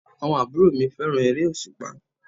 Àwọn àbúrò mi fẹ́ràn eré òsùpá